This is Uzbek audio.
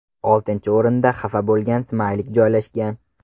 Oltinchi o‘rinda xafa bo‘lgan smaylik joylashgan.